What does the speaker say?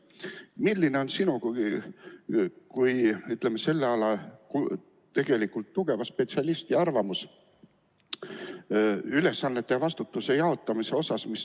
Milline on sinu kui selle ala tugeva spetsialisti arvamus nende ülesannete ja vastutuse jaotamisest?